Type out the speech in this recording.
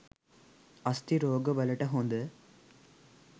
අස්ථි රෝග වලට හොඳ